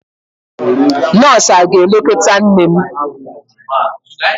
Nọọsụ aga-elekọta nne m?